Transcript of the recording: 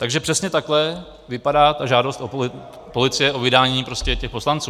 Takže přesně takhle vypadá ta žádost policie o vydání prostě těch poslanců.